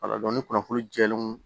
Wala dɔnku ni kunnafoni jɛlen don